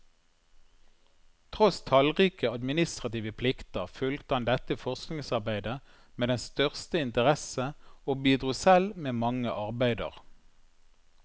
Tross tallrike administrative plikter fulgte han dette forskningsarbeidet med den største interesse, og bidro selv med mange arbeider.